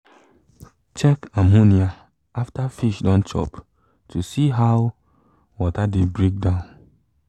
check ammonia after fish don chop to see how water dey break down